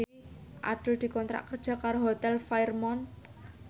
Abdul dikontrak kerja karo Hotel Fairmont